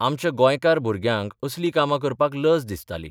आमच्या गोंयकार भुरग्यांक असलीं कामां करपाक लज दिसताली.